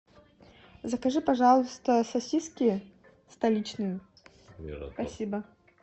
закажи пожалуйста сосиски столичные спасибо